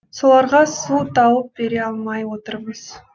соларға су тауып бере алмай отырмыз